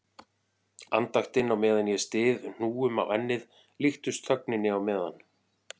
Andaktin á meðan ég styð hnúum á ennið líkust þögninni á meðan